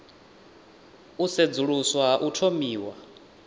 u sedzuluswa ha u thomiwa